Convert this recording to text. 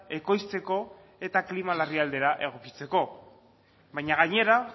ekoizteko eta klima larrialdira egokitzeko baina gainera